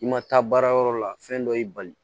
I ma taa baarayɔrɔ la fɛn dɔ y'i bali